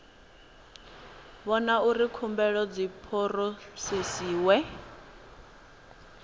vhona uri khumbelo dzi phurosesiwa